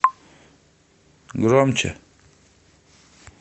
громче